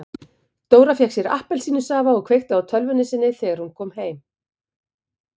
Dóra fékk sér glas af appelsínusafa og kveikti á tölvunni sinni þegar hún kom heim.